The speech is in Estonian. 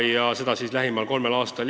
Ja see jääb nii lähimal kolmel aastal.